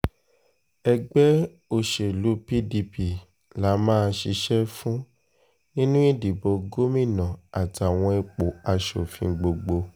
ẹgbẹ́ òsèlú pdp la máa ṣiṣẹ́ fún nínú ìdìbò gómìnà àtàwọn ipò asòfin gbogbo